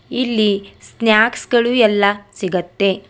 ಇಲ್ಲಿ ಸ್ನಾಕ್ಸ್ ಗಳು ಎಲ್ಲಾ ಸಿಗುತ್ತೆ.